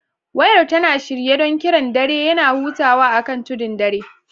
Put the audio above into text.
Wayar tana shirye don kiran dare; yana hutawa akan tudun dare.